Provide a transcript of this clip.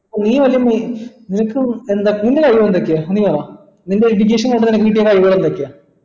നിൻറെ കഴിവ് എന്തൊക്കെയാ നീ പറ നിന്റെ education കഴിവുകൾ എന്തൊക്കെയാ